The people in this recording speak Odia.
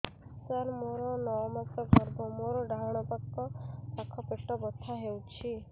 ସାର ମୋର ନଅ ମାସ ଗର୍ଭ ମୋର ଡାହାଣ ପାଖ ପେଟ ବଥା ହେଉଛି